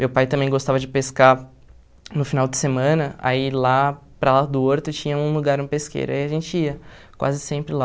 Meu pai também gostava de pescar no final de semana, aí lá para lá do horto tinha um lugar, um pesqueiro, aí a gente ia quase sempre lá.